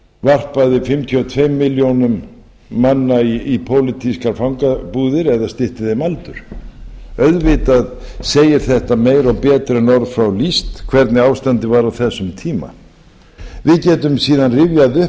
varpaði fimmtíu og tveimur milljónum manna í pólitískar fangabúðir eða stytti þeim aldur auðvitað segir þetta meira og betur en orð fá lýst hvernig ástandið var á þessum tíma við getum síðan rifjað upp